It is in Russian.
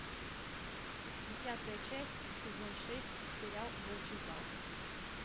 десятая часть сезон шесть сериал волчий зал